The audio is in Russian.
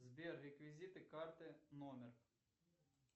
сбер реквизиты карты номер